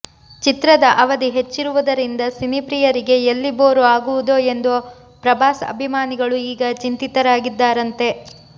ಚಿತ್ರದ ಅವಧಿ ಹೆಚ್ಚಿರುವುದರಿಂದ ಸಿನಿ ಪ್ರಿಯರಿಗೆ ಎಲ್ಲಿ ಬೋರು ಆಗುವುದೋ ಎಂದು ಪ್ರಭಾಸ್ ಅಭಿಮಾನಿಗಳು ಈಗ ಚಿಂತಿತರಾಗಿದ್ದಾರಂತೆ